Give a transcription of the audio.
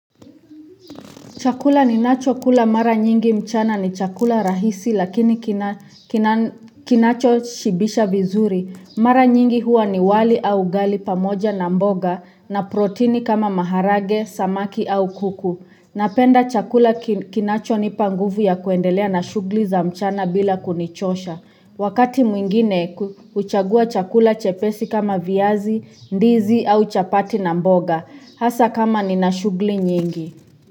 Chakula ninachokula mara nyingi mchana ni chakula rahisi lakini kinachoshibisha vizuri. Mara nyingi huwa ni wali au ugali pamoja na mboga na protini kama maharage samaki au kuku napenda chakula kinachonipa nguvu ya kuendelea na shughuli za mchana bila kunichosha. Wakati mwingine huchagua chakula chepesi kama viazi, ndizi au chapati na mboga. Hasa kama ni na shughuli nyingi.